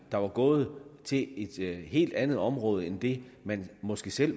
der var gået til et helt andet område end det man måske selv